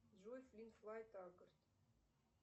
джой флинт флай тагорт